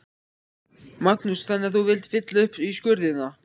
Magnús: Þannig að þú vilt fylla upp í skurðina?